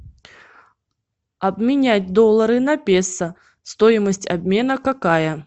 обменять доллары на песо стоимость обмена какая